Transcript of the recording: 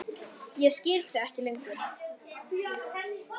Ég skil þig ekki lengur.